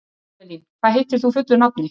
Avelín, hvað heitir þú fullu nafni?